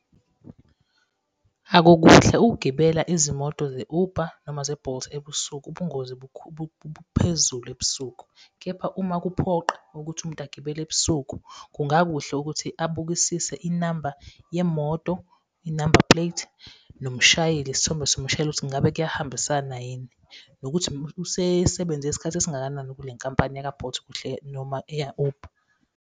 Akukuhle ukugibela izimoto ze-Uber noma ze-Bolt ebusuku, ubungozi buphezulu ebusuku. Kepha uma kuphoqa ukuthi umuntu agibele ebusuku, kungakuhle ukuthi abukisise inamba yemoto, inambapleti. Nomshayeli, isithombe somshayeli, ukuthi ngabe kuyahambisana yini, nokuthi usesebenze isikhathi esingakanani kule nkampani yaka-Bolt kuhle, noma eya-Uber.